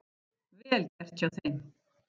Vel gert hjá þeim.